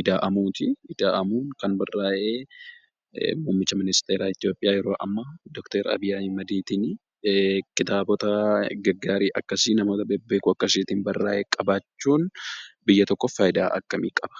'Ida'amuu' ti. Kitaabni kun kan barraa'ee mummicha ministeeeraa Itoophiyaa yeroo ammaa Dooktar Abiyyi Ahimad tiin. Kitaabota gaggaarii akkasii namoota bebbeekamoo akkasiitiin barraa'e qabaachuun biyya tokkoof faayudaa akkamii qaba?